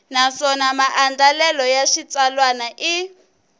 naswona maandlalelo ya xitsalwana i